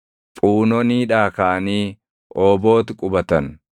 Phuunoniidhaa kaʼanii Oobooti qubatan.